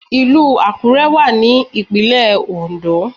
Ìlù Àkúrẹ́ wà ní ìpínlẹ̀ Oǹdó